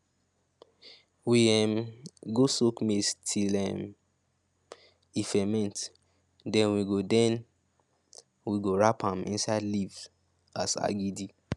we um go soak maize till um e ferment then we go then we go wrap am inside leaves as agidi